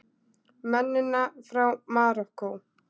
Mennina frá Marokkó!